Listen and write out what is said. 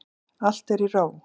Allt er í ró.